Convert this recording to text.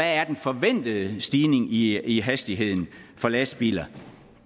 er den forventede stigning i i hastigheden for lastbiler